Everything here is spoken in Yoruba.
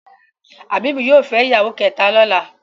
Habib yóò fè ìyàwó kéta lọla.